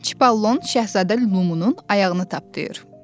Çipollon Şahzadə Lumunun ayağını tapdı yır.